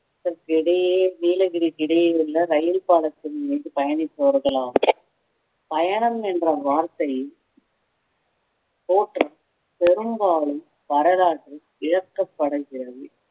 இதற்கிடையே நீலகிரிக்கு இடையே உள்ள ரயில் பாலத்தின் மீது பயணிப்பவர்கள் ஆகும் பயணம் என்ற வார்த்தை பெரும்பாலும் வரலாற்றில் விளக்கப்படுகிறது